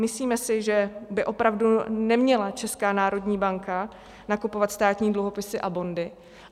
Myslíme si, že by opravdu neměla Česká národní banka nakupovat státní dluhopisy a bondy.